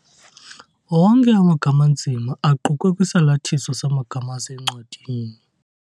Onke amagama anzima aqukwe kwisalathiso samagama asencwadini.